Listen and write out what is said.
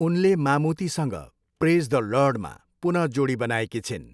उनले मामुतीसँग praise the लर्डमा पुन जोडी बनाएकी छिन्।